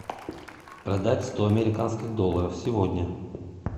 продать сто американских долларов сегодня